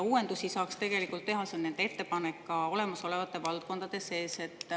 Uuendusi saaks tegelikult teha – see on nende ettepanek – ka olemasolevate valdkondade sees.